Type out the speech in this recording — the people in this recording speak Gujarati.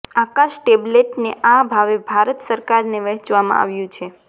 આકાશ ટેબલેટને આ ભાવે ભારત સરકારને વહેચવામાં આવ્યું છે